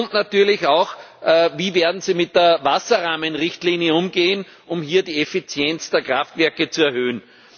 Und natürlich auch Wie werden Sie mit der Wasserrahmenrichtlinie umgehen, um hier die Effizienz der Kraftwerke zu erhöhen?